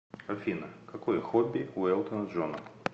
афина какое хобби у элтона джона